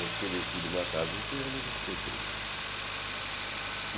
Eu fiquei detido uma tarde inteira, mas não fiquei preso.